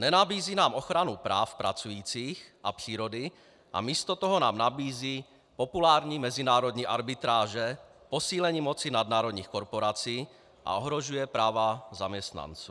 Nenabízí nám ochranu práv pracujících a přírody a místo toho nám nabízí populární mezinárodní arbitráže, posílení moci nadnárodních korporací a ohrožuje práva zaměstnanců.